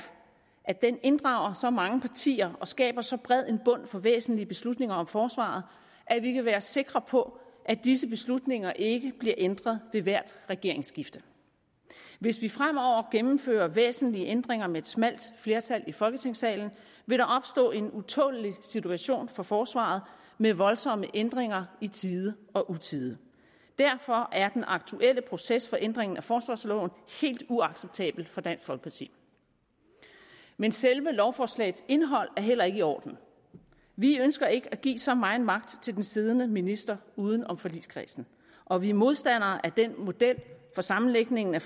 at den inddrager så mange partier og skaber så bred en bund for væsentlige beslutninger om forsvaret at vi kan være sikre på at disse beslutninger ikke bliver ændret ved hvert regeringsskifte hvis vi fremover gennemfører væsentlige ændringer med et smalt flertal i folketingssalen vil der opstå en utålelig situation for forsvaret med voldsomme ændringer i tide og utide derfor er den aktuelle proces for ændringen af forsvarsloven helt uacceptabel for dansk folkeparti men selve lovforslagets indhold er heller ikke i orden vi ønsker ikke at give så meget magt til den siddende minister uden om forligskredsen og vi er modstandere af den model for sammenlægningen af